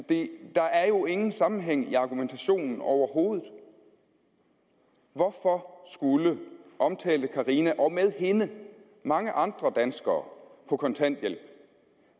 der er jo ingen sammenhæng i argumentationen overhovedet hvorfor skulle omtalte carina og med hende mange andre danskere på kontanthjælp